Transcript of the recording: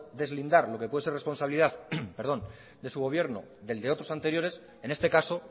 deslindar lo que puede ser responsabilidad de su gobierno del de otros anteriores en este caso